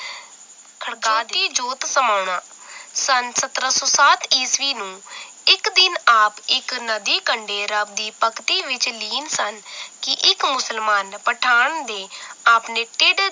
ਖੜਕਾਤੀ ਜੋਤੀ ਜੋਤ ਸਮਾਉਣਾ ਸਨ ਸਤਰਾਂ ਸੌ ਸਾਤ ਈਸਵੀ ਨੂੰ ਇੱਕ ਦਿਨ ਆਪ ਇੱਕ ਨਦੀ ਕੰਡੇ ਰੱਬ ਦੀ ਭਗਤੀ ਵਿਚ ਲੀਨ ਸਨ ਕਿ ਇੱਕ ਮੁਸਲਮਾਨ ਪਠਾਨ ਨੇ ਆਪਣੇ ਢਿੱਡ